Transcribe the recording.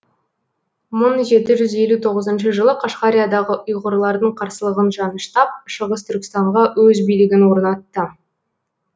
мың жеті жүз елу тоғызыншы жылы қашғариядағы ұйғырлардың қарсылығын жаныштап шығыс түркістанға өз билігін орнатты